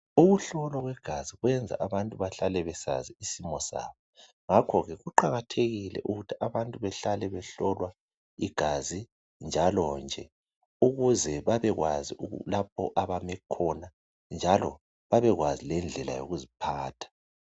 Ukuhlolwa kwegazi kwenza abantu bahlale besazi isimo sabo ngakho ke kuqakathekile ukuthi abantu behlale behlolwa igazi njalonje ukuze babekwazi lapho abame khona njalo babekwazi lendlela yokuziphatha